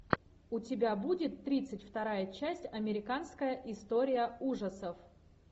у тебя будет тридцать вторая часть американская история ужасов